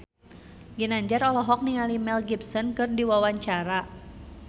Ginanjar olohok ningali Mel Gibson keur diwawancara